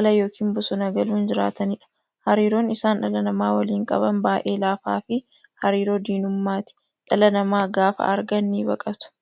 ala yookiin bosona galuun jiraataniidha. Hariiroon isaan dhala namaa waliin qaban baay'ee laafaafi hariiroo diinummaati. Dhala namaa gaafa argan nibaqatu.